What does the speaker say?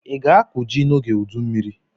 Ị ga-akụ ji n'oge udu mmiri?